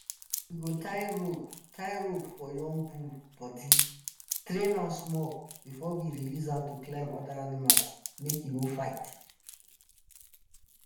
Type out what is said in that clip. we go tie rope tie rope for young bull body train am small before we release am to climb other animals make e no fight.